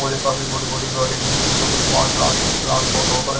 और ये काफी बड़े बड़े गाड़ी जिनके अंदर कुछ माल ट्रांसपोर्ट हो कर--